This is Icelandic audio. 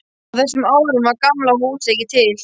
Á þessum árum var Gamla húsið ekki til.